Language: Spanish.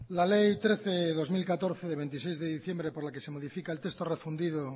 la ley trece barra dos mil catorce de veintiséis de diciembre por la que se modifica el texto refundido